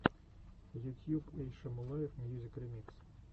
ютьюб эй шамулаев мьюзик ремикс